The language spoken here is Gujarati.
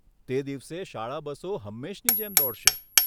તે દિવસે શાળા બસો હંમેશની જેમ દોડશે.